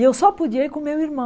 E eu só podia ir com o meu